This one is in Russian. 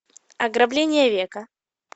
ограбление века